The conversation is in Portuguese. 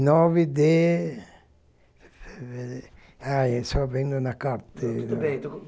nove de... aí Fevereiro, só vendo na carteira. Tudo bem